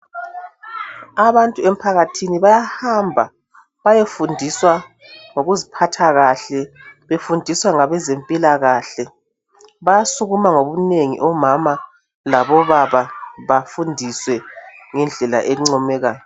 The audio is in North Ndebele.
Abantu emphakathini bayahamba bayefundiswa ngokuziphathakahle befundiswa ngabezempilakahle bayasukuma ngobunengi omama labobaba bafundiswe ngendlela encomekayo